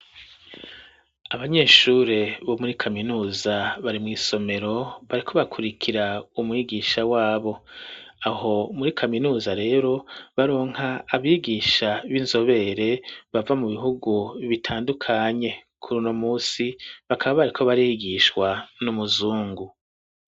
Abanyeshuri bo muri kaminuza bari mw’isomero bariko bakurikira umwigisha wabo, aho muri kaminuza rero baronka abigisha b'inzobere bava mu bihugu bitandukanye, kur uno munsi bakaba bariko barigishwa n'umuzungu.